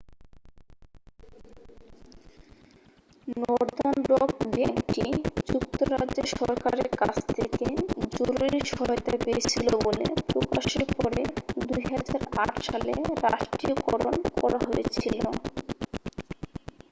northern rock ব্যাংকটি যুক্তরাজ্যের সরকারের কাছ থেকে জরুরি সহায়তা পেয়েছিল বলে প্রকাশের পরে 2008 সালে রাষ্ট্রীয়করণ করা হয়েছিল